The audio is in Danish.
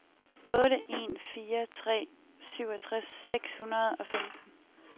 otte en fire tre syvogtres seks hundrede og femten